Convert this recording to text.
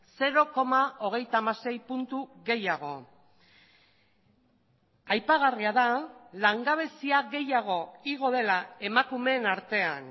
zero koma hogeita hamasei puntu gehiago aipagarria da langabezia gehiago igo dela emakumeen artean